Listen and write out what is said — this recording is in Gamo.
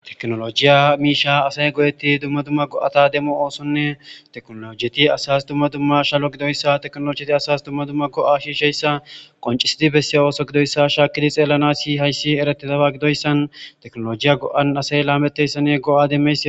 Teknooloojita miishshaa asay go7eththidi dumma dumma go7atha demo oosonne teknooloojethi asaas dumma dumma ishalo gidayssa teknooloojethi asas dumma dumma go7aa shiishsheyssa qonccissi bessiya gidoyssa shaakkizi xeellanaassi hayssi ereththidaba gidoyssan teknooloojiya go7an asay laameththeesinne go7aa demmeesi.